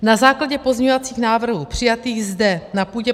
Na základě pozměňovacích návrhů přijatých zde na půdě